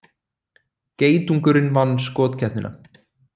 Geitungurinn vann skotkeppnina